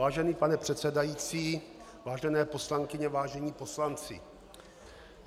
Vážený pane předsedající, vážené poslankyně, vážení poslanci.